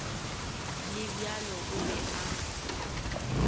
le bjalo o be a